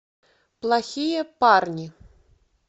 плохие парни